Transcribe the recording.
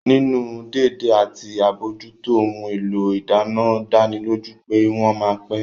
Nínú dédé àti àbójútó ohun èlò ìdáná dánilójú pé wọ́n ma pẹ́